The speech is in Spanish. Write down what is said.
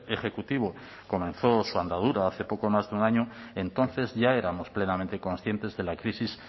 ejecutivo comenzó su andadura hace poco más de un año entonces ya éramos plenamente conscientes de la crisis